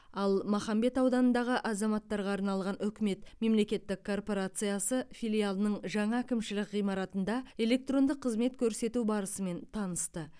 ал махамбет ауданындағы азаматтарға арналған үкімет мемлекеттік корпорациясы филиалының жаңа әкімшілік ғимаратында электронды қызмет көрсету барысымен танысты